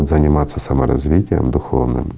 заниматься саморазвитием духовным